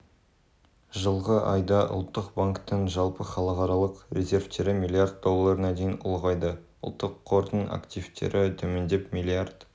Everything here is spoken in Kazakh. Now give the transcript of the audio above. жылғы айда ұлттық банктің жалпы халықаралық резервтері млрд долларына дейін ұлғайды ұлттық қордың активтері төмендеп млрд